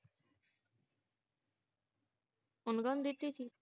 ਓਹਨੂੰ ਕਾਨੁ ਦਿੱਤੀ ਸੀ।